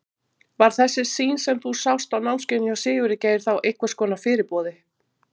Var þessi sýn sem þú sást á námskeiðinu hjá Sigurði Geir þá einhvers konar fyrirboði?